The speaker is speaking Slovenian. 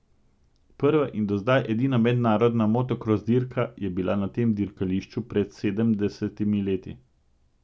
Prva in do zdaj edina mednarodna motokros dirka je bila na tem dirkališču pred sedemdesetimi leti.